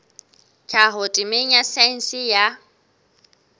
tlhaho temeng ya saense ya